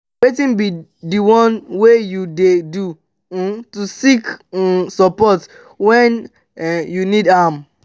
wetin be di one thing wey you dey do um to seek um support when um you need am?